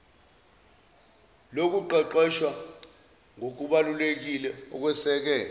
lokuqeqeshwa ngokubalulekile okweseke